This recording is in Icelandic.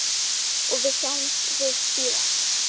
Og þá sjáumst við síðar!